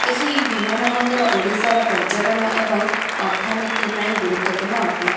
ଏହି ବିମାନ ବନ୍ଦର ଓଡ଼ିଶାର ପର୍ଯ୍ୟଟନ ଏବଂ ଅର୍ଥନୀତି ପାଇଁ ଗୁରୁତ୍ବ ପୂର୍ଣ୍ଣ ଅଟେ।